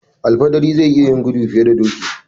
Al fidiri zai iya yin gudu fiye da doki.